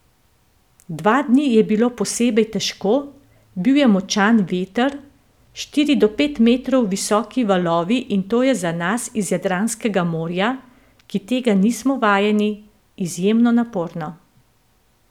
Dva dni je bilo posebej težko, bil je močan veter, štiri do pet metrov visoki valovi in to je za nas iz Jadranskega morja, ki tega nismo vajeni, izjemno naporno.